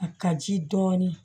A ka ji dɔɔnin